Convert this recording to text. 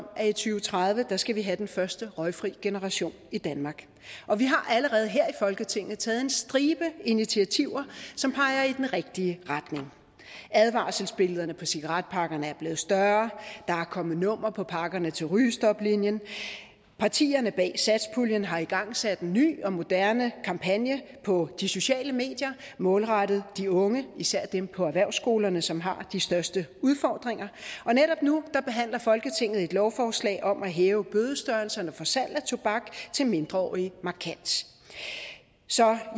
tredive skal vi have den første røgfri generation i danmark og vi har allerede her i folketinget taget en stribe initiativer som peger i den rigtige retning advarselsbillederne på cigaretpakkerne er blevet større der er kommet nummer på pakkerne til rygestoplinjen partierne bag satspuljen har igangsat en ny og moderne kampagne på de sociale medier målrettet de unge især dem på erhvervsskolerne som har de største udfordringer og netop nu behandler folketinget et lovforslag om at hæve bødestørrelserne for salg af tobak til mindreårige markant så